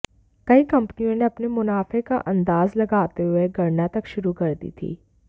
कई कम्पनियों ने अपने मुनाफे का अंदाज लगाते हुए गणना तक शुरू कर दी थी